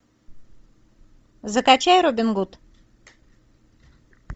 закачай робин гуд